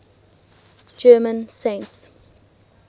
german saints